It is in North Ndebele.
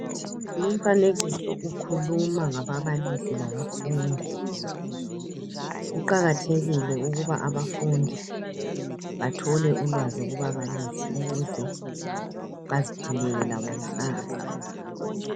Lumfanekiso ukhuluma ngababalisi labafundi. Kuqakathekile ukuba abafundi bathole ulwazi kubabalisi ukuze baziphilele labo kusasa.